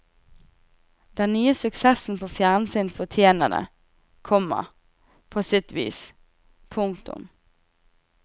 Den nye suksessen på fjernsyn fortjener det, komma på sitt vis. punktum